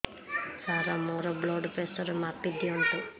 ସାର ମୋର blood pressure ମାପି ଦିଅନ୍ତୁ